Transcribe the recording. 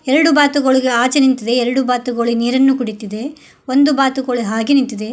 ಎರಡು ಬಾತುಕೋಳಿಗಳು ಆಚೆ ನಿಂತಿದೆ ಎರಡು ಬಾತುಗಳು ನೀರನ್ನು ಕುಡಿತಿದೆ ಒಂದು ಬಾತುಕೋಳಿ ಹಾಗೆ ನಿಂತಿದೆ.